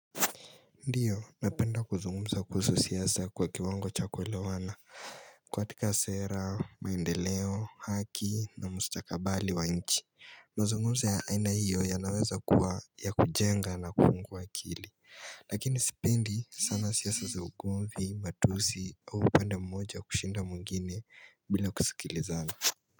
Ndiyo, napenda kuzungumza kuhusu siasa kwa kiwango cha kuelewana katika sera, maendeleo, haki na mustakabali wa nchi mazungumzo ya aina hiyo yanaweza kuwa ya kujenga na kufungua akili Lakini sipendi sana siasa za ugomvi, matusi, au upande mmoja wa kushinda mwingine bila kusikilizana.